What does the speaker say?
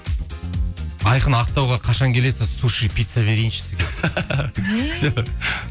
айқын ақтауға қашан келесіз суши пицца берейінші сізге